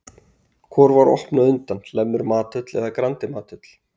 Hvor var opnuð á undan, Hlemmur mathöll eða Grandi mathöll?